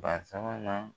Ba sabanan